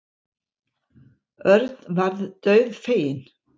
Örn varð dauðfeginn.